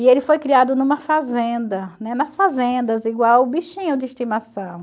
E ele foi criado numa fazenda, né, nas fazendas, igual bichinho de estimação.